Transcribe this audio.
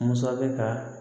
Masakɛ ka